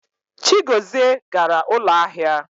Chigozie gara ụlọ ahịa.